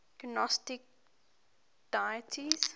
gnostic deities